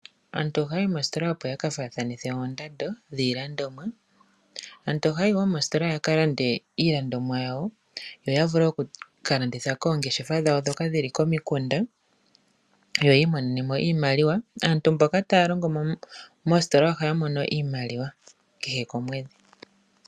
Aantu ohaya yi moositola opo yakafaathanithe oondando dhiilandomwa. Aantu ohaya yi wo moositola yakalande iilandomwa yawo yo ya vule okukalanditha koongeshefa dhawo ndhoka dhili komikunda yo yi imonene mo iimaliwa. Aantu mboka taya longo moositola ohaya mono iimaliwa kehe komwedhi.